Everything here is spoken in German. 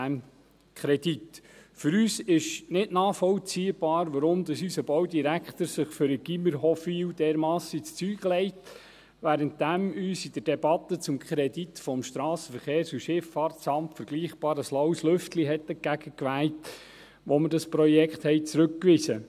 Für uns ist es nicht nachvollziehbar, weshalb unser Baudirektor sich für das Gymnasium Hofwil dermassen ins Zeug legt, obwohl uns in der Debatte zum SVSA ein vergleichbar laues Lüftchen entgegenwehte, als wir dieses Projekt zurückwiesen.